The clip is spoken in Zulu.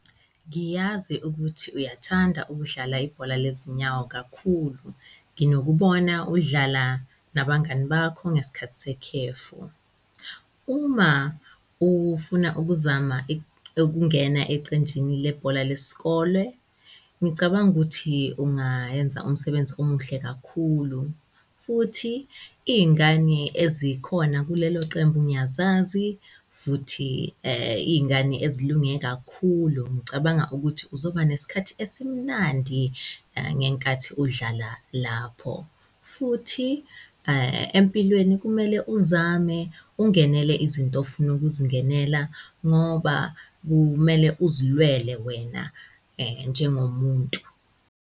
Ngiyazi ukuthi uyathanda ukudlala ibhola lezinyawo kakhulu, nginokubona udlala nabangani bakho ngesikhathi sekhefu. Uma ufuna ukuzama ukungena eqenjini lebhola lesikole, ngicabanga ukuthi ungayenza umsebenzi omuhle kakhulu futhi iy'ngani ezikhona kulelo qembu ngiyazazi futhi iy'ngani ezilunge kakhulu, ngicabanga ukuthi uzoba nesikhathi esimnandi ngenkathi udlala lapho. Futhi empilweni kumele uzame ungenele izinto ofuna ukuzingenela ngoba kumele uzilwele wena njengomuntu.